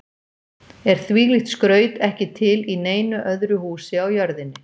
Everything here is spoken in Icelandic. Er þvílíkt skraut ekki til í neinu öðru húsi á jörðinni.